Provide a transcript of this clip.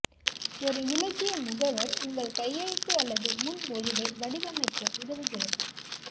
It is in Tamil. ஒரு இலக்கிய முகவர் உங்கள் கையெழுத்து அல்லது முன்மொழிவை வடிவமைக்க உதவுகிறது